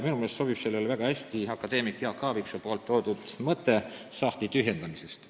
Minu meelest sobib siin metafooriks väga hästi akadeemik Jaak Aaviksoo mõte sahtli tühjendamisest.